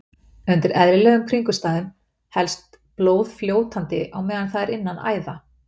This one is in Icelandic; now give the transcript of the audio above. Undir eðlilegum kringumstæðum helst blóð fljótandi á meðan það er innan æða.